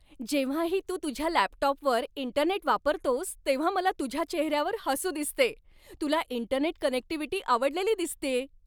जेव्हाही तू तुझ्या लॅपटॉपवर इंटरनेट वापरतोस तेव्हा मला तुझ्या चेहऱ्यावर हसू दिसते. तुला इंटरनेट कनेक्टिव्हिटी आवडलेली दिसतेय!